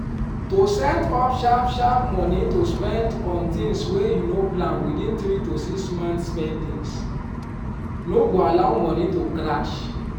to set up sharp sharp money to spend on things wey you no plan within three to six month spendings no go allow money to crash